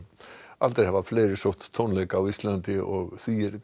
aldrei hafa fleiri sótt tónleika á Íslandi og því er